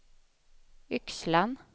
Yxlan